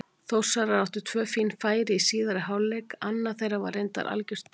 Þórsarar áttu tvö fín færi í síðari hálfleik, annað þeirra var reyndar algjört dauðafæri.